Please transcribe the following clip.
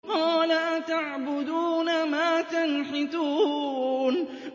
قَالَ أَتَعْبُدُونَ مَا تَنْحِتُونَ